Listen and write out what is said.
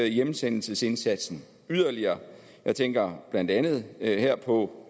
hjemsendelsesindsatsen yderligere jeg tænker blandt andet her på